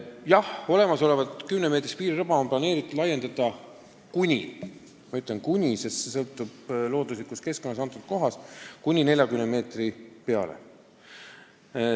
Jah, olemasolevat kümnemeetrist piiririba on plaanitud laiendada kuni – ma rõhutan sõna "kuni", sest kõik sõltub looduslikust keskkonnast konkreetses kohas – 40 meetrini.